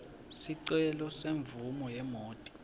sicelo semvumo yemoti